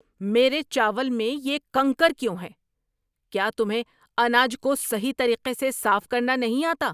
میرے چاول میں یہ کنکر کیوں ہے؟ کیا تمہیں اناج کو صحیح طریقے سے صاف کرنا نہیں آتا؟